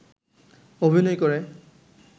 অভিনয় করে